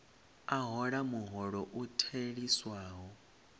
a hola muholo u theliswaho